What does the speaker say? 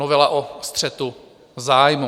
Novela o střetu zájmů.